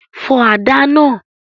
Fọ àdá náà!